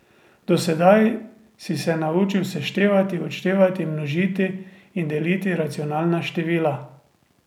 Do sedaj si se naučil seštevati, odštevati, množiti in deliti racionalna števila.